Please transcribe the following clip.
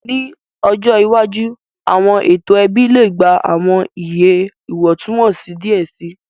Ni ọjọ iwaju, awọn eto ẹbi le gba awọn iye iwọntunwọnsi diẹ sii,